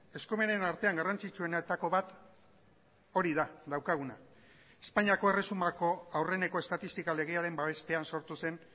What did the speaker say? eskumenen artean garrantzitsuenetako bat hori da daukaguna espainiako erresumako aurreneko estatistika legearen babespean sortu zen